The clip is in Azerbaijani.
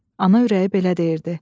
Ana ürəyi belə deyirdi.